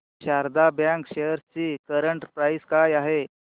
Sharda bank shares ची current price काय आहे